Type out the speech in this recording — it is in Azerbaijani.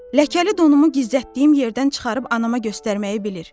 Ləkəli donumu gizlətdiyim yerdən çıxarıb anama göstərməyi bilir.